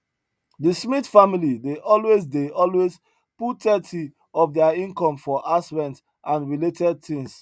the smith family dey always dey always put thirty of their income for house rent and related things